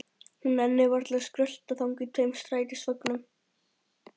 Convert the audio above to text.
Hún nennir varla að skrölta þangað í tveim strætisvögnum.